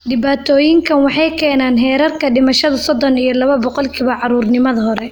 Dhibaatooyinkaan waxay keenaan heerka dhimashada sodon iyo laba boqolkiba caruurnimada hore.